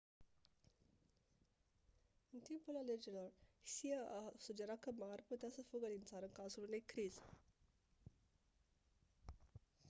în timpul alegerilor hsieh a sugerat că ma ar putea să fugă din țară în cazul unei crize